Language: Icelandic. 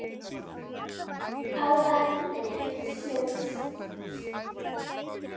Á barnum!